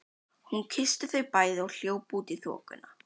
Hún kyssti þau bæði og hljóp út í þokuna.